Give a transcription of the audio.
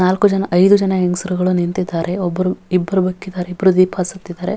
ನಾಲ್ಕುಜನ ಐದು ಜನ ಹೆಂಗ್ಸುರುಗಳು ನಿಂತಿದ್ದಾರೆ ಒಬ್ಬರು ಇಬ್ಬ್ರು ಇಬ್ರು ದೀಪ ಹಚ್ಚಿತ್ತಿದ್ದಾರೆ.